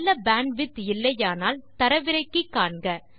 நல்ல பேண்ட்விட்த் இல்லையானால் தரவிறக்கி காண்க